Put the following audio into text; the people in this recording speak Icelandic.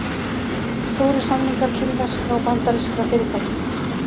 Stórir samningar kínverskra og bandarískra fyrirtækja